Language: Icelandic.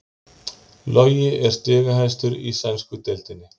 Logi er stigahæstur í sænsku deildinni